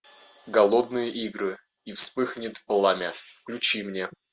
голодные игры и вспыхнет пламя включи мне